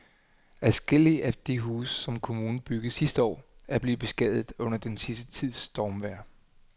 Adskillige af de huse, som kommunen byggede sidste år, er blevet beskadiget under den sidste tids stormvejr.